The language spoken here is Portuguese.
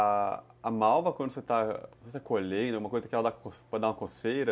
A malva, quando você está colhendo, é uma coisa que pode dar uma coceira?